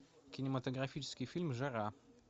кинематографический фильм жара